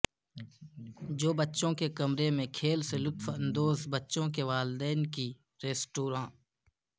جو بچوں کے کمرے میں کھیل سے لطف اندوز بچوں کے والدین کی طرح ریستوران